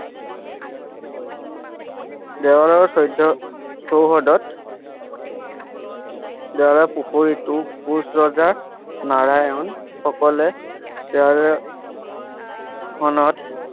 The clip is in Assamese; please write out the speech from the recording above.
দেৱাৰৰ চৈধ্য চৌহদত দেৱাৰৰ পুখুৰীটো কোঁচ ৰজা নৰনাৰায়ণ সকলে খনত